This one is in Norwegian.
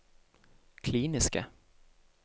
kliniske